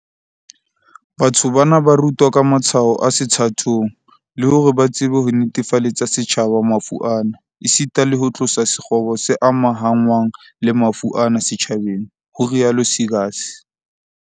"Batho bana ba rutwa ka matshwao a sethathong, le hore ba tsebe ho netefaletsa setjhaba mafu ana, esita le ho tlosa sekgobo se amahanngwang le mafu ana setjhabeng", ho rialo Seegers